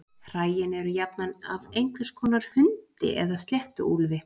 Hræin eru jafnan af einhvers konar hundi eða sléttuúlfi.